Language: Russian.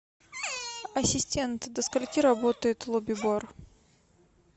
ассистент до скольки работает лобби бар